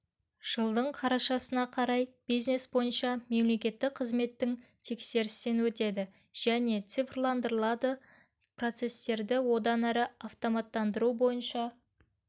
жылдың қарашасына қарай бизнес бойынша мемлекеттік қызметтің тексерістен өтеді және цифрландырылады процестерді одан әрі автоматтандыру бойынша